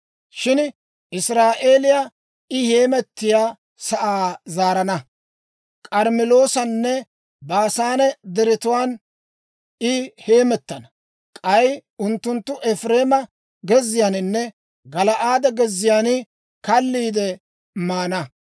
Shin Israa'eeliyaa I heemettiyaa sa'aa zaarana; K'armmeloosanne Baasaane Deretuwaan I heemettana. K'ay unttunttu Efireema gezziyaaninne Gala'aade gezziyaan kalliide maana.